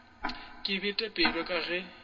ke bete pelo ka ge